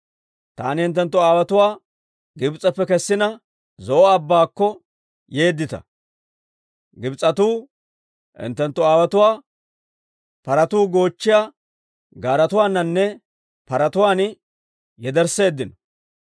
Taani hinttenttu aawotuwaa Gibs'eppe kessina, Zo'o Abbaakko yeeddita; Gibs'etuu hinttenttu aawotuwaa paratuu goochchiyaa gaaretuwaaninne paraawatuwaan yedersseeddino.